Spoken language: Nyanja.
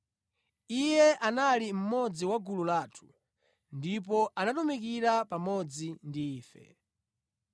Iye anali mmodzi wa gulu lathu ndipo anatumikira pamodzi ndi ife.”